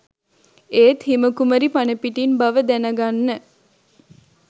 ඒත් හිම කුමරී පණපිටින් බව දැන ගන්න